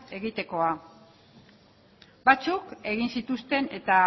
egitekoa batzuk egin zituzten eta